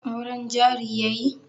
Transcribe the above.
Auren jari yayi?